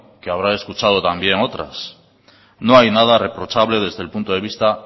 que habrá escuchado también otras no hay nada reprochable desde el punto de vista